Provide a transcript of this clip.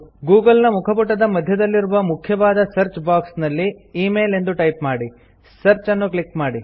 Google ನ ಮುಖಪುಟದ ಮಧ್ಯದಲ್ಲಿರುವ ಮುಖ್ಯವಾದ ಸರ್ಚ್ ಬಾಕ್ಸ್ ನಲ್ಲಿ ಇಮೇಲ್ ಎಂದು ಟೈಪ್ ಮಾಡಿ ಸರ್ಚ್ ಅನ್ನು ಕ್ಲಿಕ್ ಮಾಡಿ